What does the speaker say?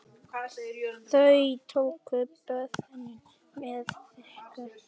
Þau tóku boðinu með þökkum.